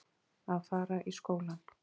Að fara í skólann!